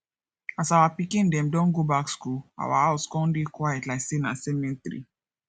as our pikin dem don go back school our house con dey quiet like sey na cemetery